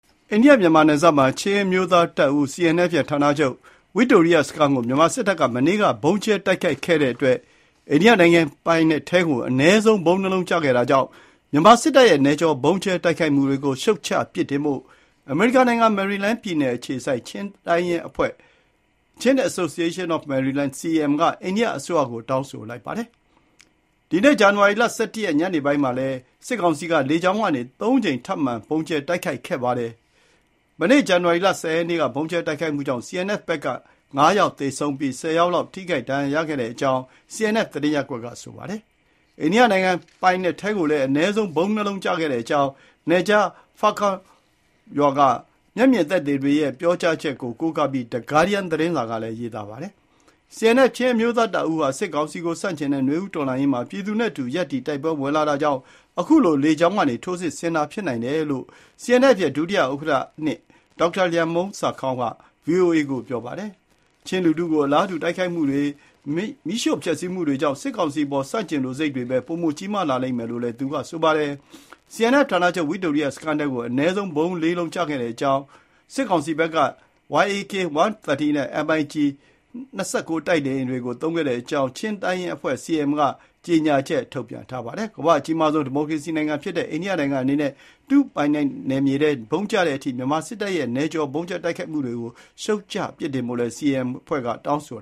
အိန္ဒိယ မြန်မာနယ်စပ်မှာ ချင်းအမျိုးသားတပ်ဦး CNF ရဲ့ ဌာနချုပ် ဝိတိုရိယစခန်းကို မြန်မာစစ်တပ်က မနေ့က ဗုံးကြဲတိုက်ခိုက်ခဲ့တဲ့အတွက် အိန္ဒိယနိုင်ငံပိုင်နက်ထဲကို အနည်းဆုံး ဗုံး ၂ လုံးကျခဲ့တာကြောင့် မြန်မာစစ်တပ်ရဲ့ နယ်ကျော် ဗုံးကြဲတိုက်ခိုက်မှုတွေကို ရှုတ်ချပြစ်တင်ဖို့ အမေရိကန်နိုင်ငံ မယ်ရီလန်းပြည်နယ်အခြေစိုက် ချင်းတိုင်းရင်းအဖွဲ့ (Chin Association of Maryland-CAM) က အိန္ဒိယအစိုးရကို တောင်းဆိုလိုက်ပါတယ်။ ဒီနေ့ ဇန်နဝါရီ ၁၁ ရက် ညနေပိုင်းမှာလဲစစ်ကောင်စီက လေကြောင်းကနေ ၃ကြိမ် ထပ်မံဗုံးကြဲတိုက်ခိုက်ခဲ့ပါတယ်။ မနေ့ ဇန်နဝါရီလ ၁၀ ရက်နေ့က ဗုံးကြဲတိုက်ခိုက်မှုကြောင့် CNF ဘက်က ၅ယောက် သေဆုံးပြီး ၁၀ ယောက်လောက် ထိခိုက်ဒဏ်ရာရခဲ့တဲ့အကြောင်း CNF သတင်းရပ်ကွက်က ပြောပါတယ်။ အိန္ဒိယနိုင်ငံပိုင်နက်ထဲကိုလည်း အနည်းဆုံး ဗုံး ၂ လုံးကျခဲ့တဲ့အကြောင်း နယ်ခြား ဖာကွမ် (Farkawn) ရွာက မျက်မြင်သက်သေတွေရဲ့ ပြောကြားချက်ကို ကိုးကားပြီး ဂါးဒီယန်း (The Guardian) သတင်းစာကလည်း ရေးပါတယ်။ CNF ချင်းအမျိုးသားတပ်ဦးဟာ စစ်ကောင်စီကို ဆန့်ကျင်တဲ့ နွေဦးတော်လှန်ရေးမှာ ပြည်သူနဲ့အတူ ရပ်တည် တိုက်ပွဲဝင်တာကြောင့် အခုလို လေကြောင်းကနေ ထိုးစစ်ဆင်တာ ဖြစ်နိုင်တယ်လို့ CNF ရဲ့ ဒုဥက္ကဋ္ဌ (၂) ဒေါက်တာလျံမှုန်းဆာခေါင်းက ဗွီအိုအေကို ပြောပါတယ်။ ချင်းလူထုကို အလားတူ တိုက်ခိုက်မှုတွေ၊ မီးရှို့ဖျက်ဆီးမှုတွေကြောင့် စစ်ကောင်စီအပေါ် ဆန့်ကျင်လိုစိတ်တွေပဲ ပိုကြီးမားလာလိမ့်မယ်လို့လည်း သူက ဆိုပါတယ်။ CNF ဌာနချုပ် ဝိတိုရိယစခန်းထဲကို အနည်းဆုံး ဗုံး ၄ လုံးကျခဲ့တဲ့အကြောင်းနဲ့ စစ်ကောင်စီဘက်က Yak-130 နဲ့ MIG 29 တိုက်လေယာဉ်တွေကို သုံးခဲ့တဲ့အကြောင်း ချင်းတိုင်းရင်းအဖွဲ့ CAM က ကြေညာချက်ထုတ်ပြန်ထားပါတယ်။ ကမ္ဘာ့အကြီးဆုံး ဒီမိုကရေစီနိုင်ငံဖြစ်တဲ့ အိန္ဒိယနိုင်ငံအနေနဲ့ သူပိုင်နယ်ထဲ ဗုံးကျတဲ့အထိ မြန်မာစစ်တပ်ရဲ့ နယ်ကျော် ဗုံးကြဲတိုက်ခိုက်မှုတွေကို ရှုတ်ချပြစ်တင်ဖို့ CAM အဖွဲ့က တောင်းဆို